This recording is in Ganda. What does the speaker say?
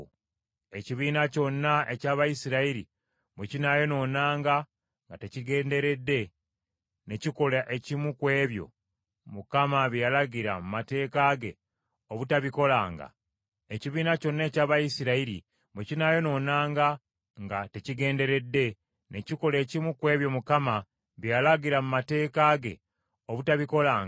“ ‘Ekibiina kyonna eky’Abayisirayiri bwe kinaayonoonanga nga tekigenderedde, ne kikola ekimu ku ebyo Mukama bye yalagira mu mateeka ge obutabikolanga, ekibiina ne bwe kinaabanga tekitegedde nti kisobezza, banaabanga bazzizza omusango.